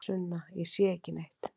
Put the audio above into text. Sunna: Ég sé ekki neitt.